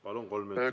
Palun!